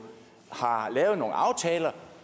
har lavet nogle aftaler